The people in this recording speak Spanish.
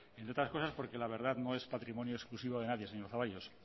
entre otras cosas porque la verdad no es patrimonio exclusivo de nadie señor zaballos